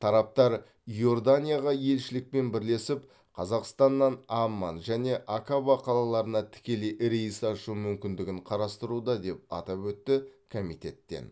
тараптар иорданиядағы елшілікпен бірлесіп қазақстаннан амман және акаба қалаларына тікелей рейс ашу мүмкіндігін қарастыруда деп атап өтті комитеттен